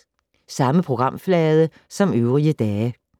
Samme programflade som øvrige dage